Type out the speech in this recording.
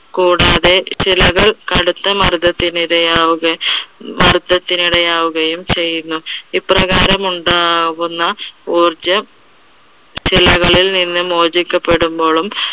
കൂടാതെ ശിലകൾ കടുത്ത മർദ്ദത്തിന് ഇടയാവുക, മർദ്ദത്തിന് ഇടയാവുകയും ചെയ്യുന്നു. ഇപ്രകാരമുണ്ടാകുന്ന ഊർജം ശിലകളിൽ നിന്ന് മോചിക്കപ്പെടുമ്പോളും